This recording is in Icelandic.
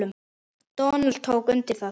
Donald tók undir það.